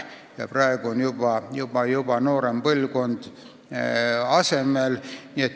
Praegu on juba noorem põlvkond asemel.